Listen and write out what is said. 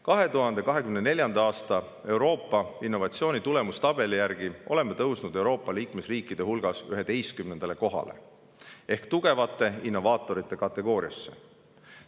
2024. aasta Euroopa innovatsiooni tulemustabeli järgi oleme tõusnud Euroopa liikmesriikide hulgas 11. kohale ehk tugevate innovaatorite kategooriasse.